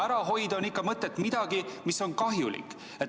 Ära hoida on mõtet ikka midagi, mis on kahjulik.